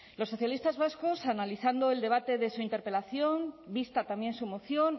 los socialistas vascos analizando el debate de su interpelación vista también su moción